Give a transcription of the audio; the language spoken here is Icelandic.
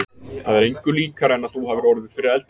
Það er engu líkara en að þú hafir orðið fyrir eldingu.